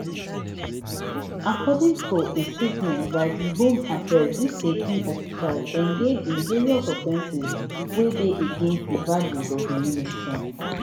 according to a statement by di home affairs dis eighteen officials engage in various offences wey dey against di values of di ministry